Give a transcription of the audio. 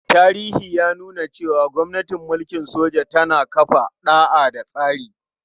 Tarihi ya nuna cewa gwamnatin mulkin soja tana kafa ɗa'a da tsari.